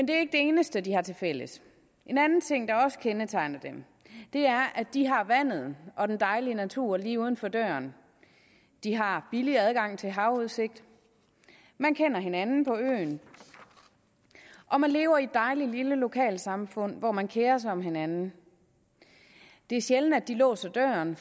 det eneste de har tilfælles en anden ting der også kendetegner dem er at de har vandet og den dejlige natur lige uden for døren de har billig adgang til havudsigt man kender hinanden på øerne og man lever i et dejligt lille lokalsamfund hvor man kerer sig om hinanden det er sjældent at de låser døren